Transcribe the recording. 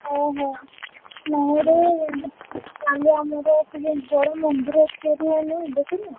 ଅହୋ କାଲି ଆମର ସେ ଯୋଉ ବଡ ମନ୍ଦିର ତିଆରି ହଉନାଇଁ ଦେଖିନୁ?